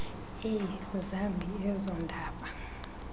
eyi zambi ezondaba